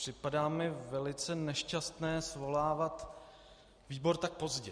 Připadá mi velice nešťastné svolávat výbor tak pozdě.